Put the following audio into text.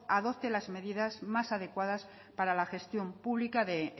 adopte las medidas más adecuadas para la gestión pública de